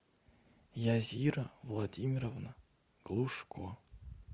язира владимировна глушко